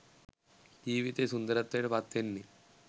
ජීවිතය සුන්දරත්වයට පත්වෙන්නේ.